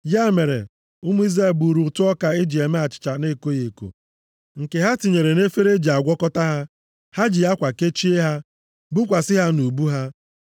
Ya mere, ụmụ Izrel buuru ụtụ ọka e ji eme achịcha na-ekoghị eko, nke ha tinyere nʼefere e ji agwakọta ya. Ha ji akwa kechie ha, bukwasị ha nʼubu ha.